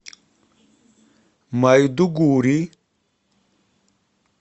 майдугури